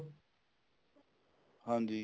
ਹਾਂਜੀ